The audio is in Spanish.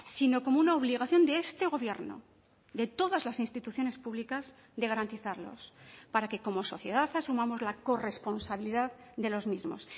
sino como una obligación de este gobierno de todas las instituciones públicas de garantizarlos para que como sociedad asumamos la corresponsabilidad de los mismos